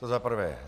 To za prvé.